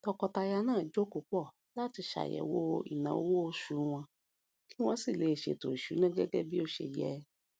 tọkọtaya náà jókòó pọ láti ṣàyẹwò ináwó oṣù wọn kí wọn sì ṣe ètò ìsúná gẹgẹ bó ṣe yẹ